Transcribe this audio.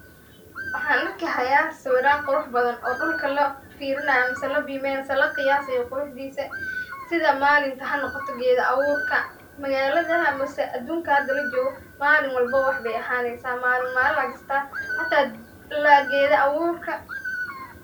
Wxan arki haya sawiran qurux badan dulka lafirinayo mise la bimiyan hayo mise la qeyasiyo quruxdisa sitha malinta hanoqoto getha a burka magaladaha mise adunka hada lajoga malin walbo wax bey ahaneysa malin malin ay jirta hata geda aburka.